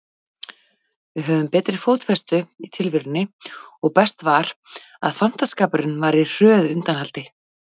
Við höfðum betri fótfestu í tilverunni og best var, að fantaskapurinn var á hröðu undanhaldi.